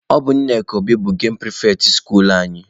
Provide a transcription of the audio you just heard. Ọ bụ Nneka Obi bụ gemụ pịrịfetị skuluu anyị.